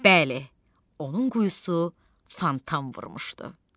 Bəli, onun quyusu fontan vurmuşdu.